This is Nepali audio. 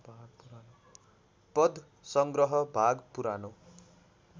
पद्यसङ्ग्रह भाग पुरानो